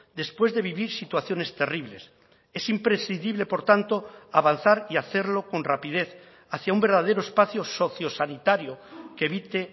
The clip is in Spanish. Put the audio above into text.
después de vivir situaciones terribles es imprescindible por tanto avanzar y hacerlo con rapidez hacia un verdadero espacio sociosanitario que evite